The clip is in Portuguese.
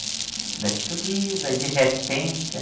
Ainda estou viva, de repente,